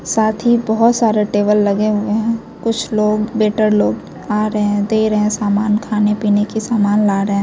साथ ही बहुत सारा टेबल लगे हुए हैं कुछ लोग वेटर लोग आ रहे हैं दे रहे हैं सामान खाने-पीने की सामान ला रहे हैं।